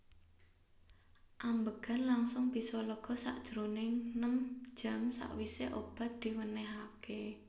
Ambegan langsung bisa lega sajroning nem jam sawise obat diwenehake